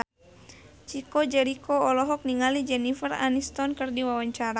Chico Jericho olohok ningali Jennifer Aniston keur diwawancara